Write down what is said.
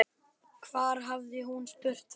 Hvar hafði hún spurt þau?